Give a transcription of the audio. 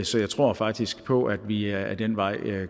så jeg tror faktisk på at vi ad den vej